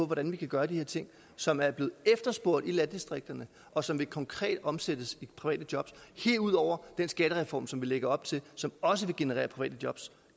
hvordan vi kan gøre de her ting som er blevet efterspurgt i landdistrikterne og som konkret vil omsættes i private jobs herudover er den skattereform som vi lægger op til og som også vil generere private jobs